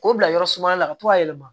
K'o bila yɔrɔ suma na ka to ka yɛlɛma